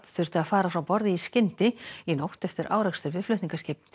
þurfti að fara frá borði í skyndi í nótt eftir árekstur við flutningaskip